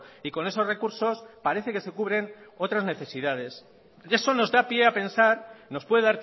y con esos recursos parece que se cubren otras necesidades eso nos da pie a pensar nos puede